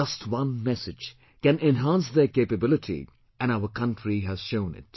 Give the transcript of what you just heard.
Just one message can enhance their capability and our country has shown it